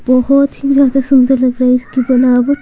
बहुत ही ज्यादा सुंदर लग रहा है इसकी बनावट।